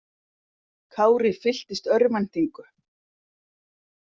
Kári fylltist örvæntingu.